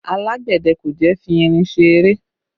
Alágbẹ̀dẹ kò jẹ́ fi irin ṣe eré